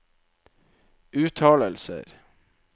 uttalelser